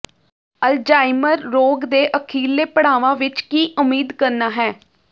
Alzheimer ਰੋਗ ਦੇ ਅਖੀਰਲੇ ਪੜਾਵਾਂ ਵਿੱਚ ਕੀ ਉਮੀਦ ਕਰਨਾ ਹੈ